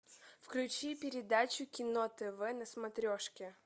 включи передачу кино тв на смотрешке